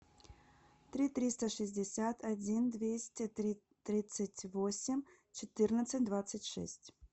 три триста шестьдесят один двести тридцать восемь четырнадцать двадцать шесть